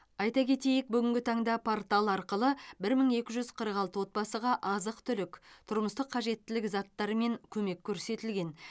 айта кетейік бүгінгі таңда портал арқылы бір мың екі жүз қырық алты отбасыға азық түлік тұрмыстық қажеттілік заттарымен көмек көрсетілген